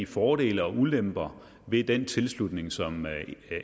fordele og ulemper ved den tilslutning som